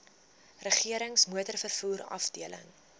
regerings motorvervoer afdeling